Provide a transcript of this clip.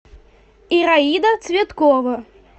ираида цветкова